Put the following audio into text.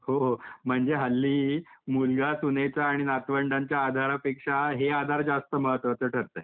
हो म्हणजे हल्ली मुलगा, सुनेचा आणि नातवंडांच्या आधारापेक्षा हे आधार जास्त महत्वाचं ठरते.